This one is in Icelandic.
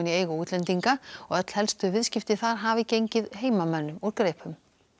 eigu útlendinga og öll helstu viðskipti þar hafi gengið heimamönnum úr greipum